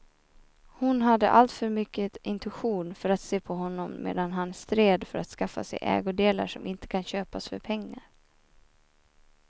Hon hade alltför mycket intuition för att se på honom medan han stred för att skaffa sig ägodelar som inte kan köpas för pengar.